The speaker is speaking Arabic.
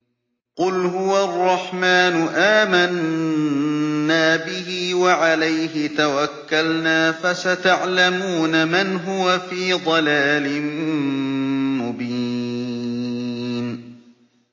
قُلْ هُوَ الرَّحْمَٰنُ آمَنَّا بِهِ وَعَلَيْهِ تَوَكَّلْنَا ۖ فَسَتَعْلَمُونَ مَنْ هُوَ فِي ضَلَالٍ مُّبِينٍ